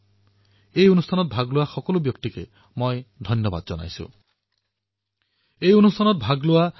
মোৰ সম্পূৰ্ণ বিশ্বাস যে আপোনালোক সকলোৰে চিন্তাধাৰাসমূহ পূৰ্বতকৈও অধিক সংখ্যাত মই পাম আৰু ইয়াৰ দ্বাৰা মন কী বাত অধিক ৰুচিশীল প্ৰভাৱী আৰু উপযোগী হৈ উঠিব